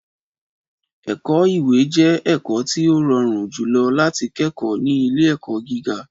Ẹ̀kọ́-ìwé jẹ́ ẹ̀kọ́ tí ó rọrùn jùlọ láti kẹ́kọ̀ọ́ ní ilé-ẹ̀kọ́ gíga.